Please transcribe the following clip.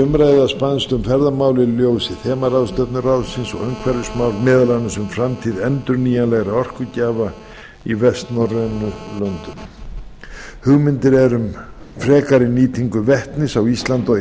umræða spannst um ferðamál í ljósi þemaráðstefnu vestnorræna ráðsins og umhverfismál meðal annars um framtíð endurnýjanlegra orkugjafa í vestnorrænu löndunum hugmyndir eru um frekari nýtingu vetnis á íslandi og í